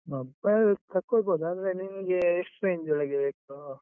Mobile ತಕೋಳ್ಬೋದು, ಆದ್ರೆ ನಿಂಗೆ ಎಷ್ಟು range ಒಳಗೆ ಬೇಕು?